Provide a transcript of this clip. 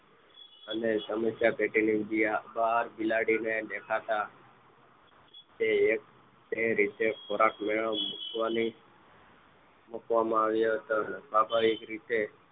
અને સમસ્યા પેટીની બહાર બિલાડીને દેખાતા તે રીતે ખોરાક મુકવામાં આવ્યો હતો સ્વભાવિક રીતે